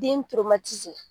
Den